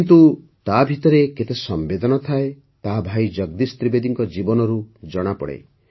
କିନ୍ତୁ ତାଭିତରେ କେତେ ସମ୍ବେଦନା ଥାଏ ତାହା ଭାଇ ଜଗଦୀଶ ତ୍ରିବେଦୀ ଜୀଙ୍କ ଜୀବନରୁ ଜଣାପଡ଼ିଥାଏ